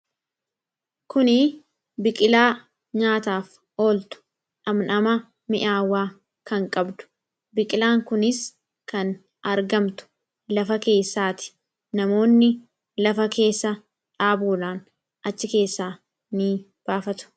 kuni biqilaa nyaataaf ooltu dhamdhama mi'aawwaa kan qabdu biqilaan kunis kan argamtu lafa keessaati namoonni lafa keessa dhaabuudhaan achi keessaa ni baafatu